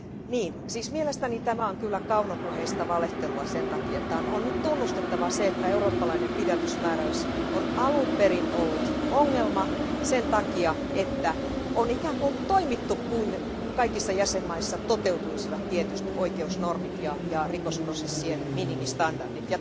Niin, siis mielestäni tämä on kyllä kaunopuheista valehtelua sen takia, että on nyt tunnustettava se, että eurooppalainen pidätysmääräys on alun perin ollut ongelma sen takia, että on ikään kuin toimittu kuin kaikissa jäsenvaltioissa toteutuisivat tietyt oikeusnormit ja rikosprosessien minimistandardit.